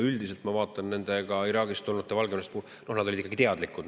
Üldiselt ma vaatan nende Iraagist ja Valgevenest tulnud, et nad olid ikkagi teadlikud.